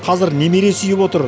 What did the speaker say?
қазір немере сүйіп отыр